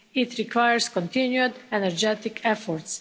It requires continued energetic efforts.